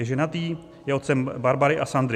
Je ženatý, je otcem Barbary a Sandry.